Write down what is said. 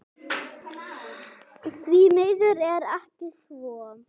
Því miður er ekki svo.